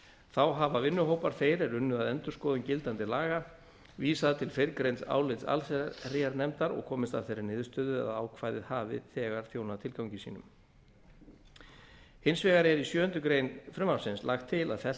þá hafa vinnuhópar þeir er unnu að endurskoðun gildandi laga vísað til fyrrgreinds álits allsherjarnefndar og komist að þeirri niðurstöðu að ákvæðið hafi þegar þjónað tilgangi sínum hins vegar er í sjöundu greinar frumvarpsins lagt til að fellt